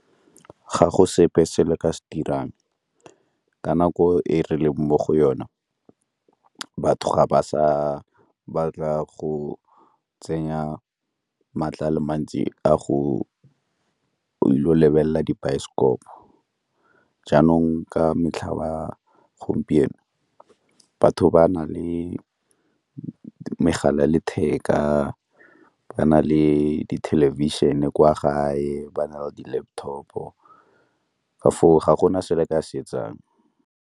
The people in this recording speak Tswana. Ga go sepe se le ka se dirang, ka nako e re leng mo go yona ke batho ga ba sa batla go tsenya maatla a le mantsi a go ile go lebelela dibaesekopo, jaanong ka metlha ba gompieno batho ba na le megala ya letheka, ba na le di thelebišene kwa gae, ba na le di-laptop-o ka foo ga gona se le ka se etsang.